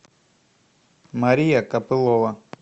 мария капылова